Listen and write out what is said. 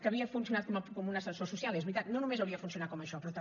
que havia funcionat com un ascensor social és veritat no només hauria de funcionar com això però també